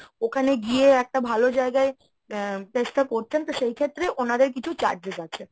ওখানে গিয়ে একটা ভালো জায়গায় আহ test টা করছেন তো সেই ক্ষেত্রে ওনাদের কিছু charges আছে।